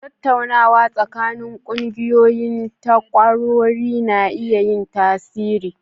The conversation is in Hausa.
Tattaunawa tsakanin ƙungiyoyin takwarori na iya yin tasiri.